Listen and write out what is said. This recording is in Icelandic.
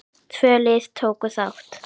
Tvö lið tóku þátt.